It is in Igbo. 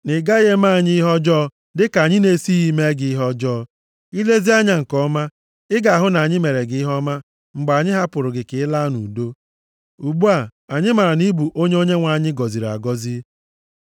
na ị gaghị eme anyị ihe ọjọọ dịka anyị na-esighị mee gị ihe ọjọọ. I lezie anya nke ọma, ị ga-ahụ na anyị meere gị ihe ọma mgbe anyị hapụrụ gị ka ị laa nʼudo. Ugbu a, anyị maara na ị bụ onye Onyenwe anyị gọziri agọzi.”